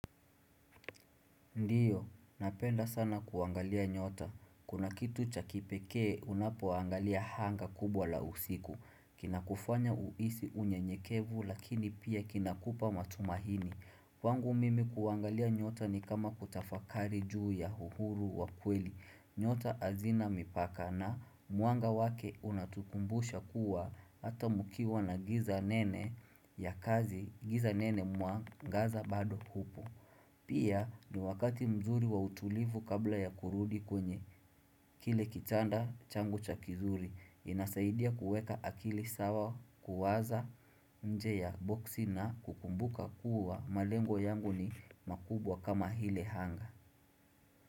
Ndiyo, napenda sana kuangalia nyota. Kuna kitu chakipekee unapoangalia anga kubwa la usiku. Kina kufanya uhisi unyenyekevu lakini pia kinakupa matumahini. Kwangu mimi kuangalia nyota ni kama kutafakari juu ya uhuru wa kweli. Nyota hazina mipaka na mwanga wake unatukumbusha kuwa hata mkiwa na giza nene ya kazi giza nene mwangaza bado hupo. Pia ni wakati mzuri wa utulivu kabla ya kurudi kwenye kile kitanda changu kizuri inasaidia kuweka akili sawa kuwaza nje ya boksi na kumbuka kuwa malengo yangu ni makubwa kama hile anga.